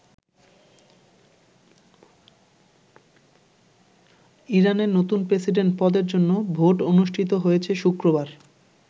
ইরানে নতুন প্রেসিডেন্ট পদের জন্য ভোট অনুষ্ঠিত হয়েছে শুক্রবার।